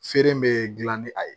Feere bɛ dilan ni a ye